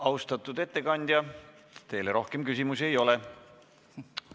Austatud ettekandja, teile rohkem küsimusi ei ole.